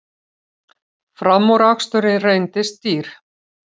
Framúraksturinn reyndist dýr